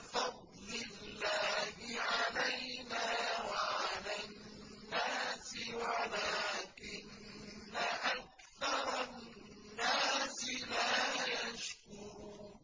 فَضْلِ اللَّهِ عَلَيْنَا وَعَلَى النَّاسِ وَلَٰكِنَّ أَكْثَرَ النَّاسِ لَا يَشْكُرُونَ